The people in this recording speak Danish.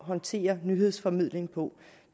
håndtere nyhedsformidling på